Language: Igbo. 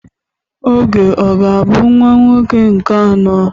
Uche ọ ga-abụ nwa nwoke nke anọ?